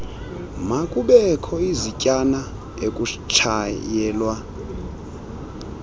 makubekho izityana ekutshayelwa